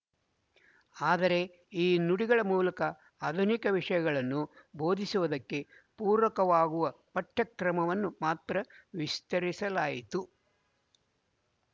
ಆದರೆ ಈ ನುಡಿಗಳ ಮೂಲಕ ಆಧುನಿಕ ವಿಶಯಗಳನ್ನೂ ಬೋಧಿಸುವುದಕ್ಕೆ ಪೂರಕವಾಗುವ ಪಠ್ಯಕ್ರಮವನ್ನು ಮಾತ್ರ ವಿಸ್ತರಿಸಲಾಯ್ತು